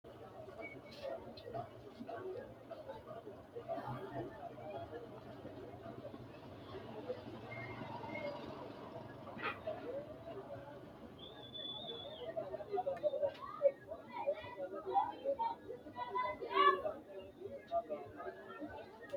Niwaawe Nabbawa Biddissa Tenne lamalara nabbawate shiqqino niwaawe huuro fushshitinikki, mommoddo nookkiha qoonqote woffinatenna gottinate agartine borrote malaatta worroonni garinni hojji hojjinni rakkine suwissine nabbabbe.